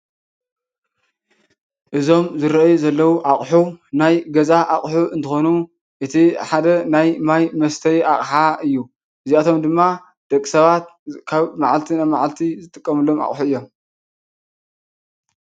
እዞም ዝረአዩ ዘለው ኣቅሑ ናይ ገዛ ኣቅሑ እንትኮኑ እቲ ሓደ ናይ ማይ መስተዪ ኣቅሓ እዩ። እዚኣቶም ድማ ደቂ ሰባት ካብ መዓልቲ ናብ መዓልቲ ዝጥቀሙሎም ኣቅሑ እዮም።